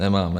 Nemáme.